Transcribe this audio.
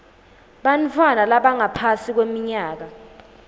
bantfwana labangaphasi kweminyaka